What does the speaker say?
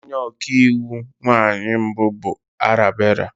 Onye ọka iwu nwanyị mbụ bụ Arabella.